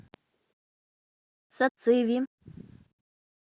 сациви